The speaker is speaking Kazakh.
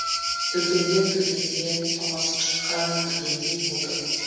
дүкенге кіргенде тоңазытқышқа кіргендей болдым